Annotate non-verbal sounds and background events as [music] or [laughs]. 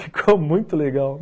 [laughs] Ficou muito legal.